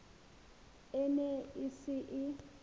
e ne e se e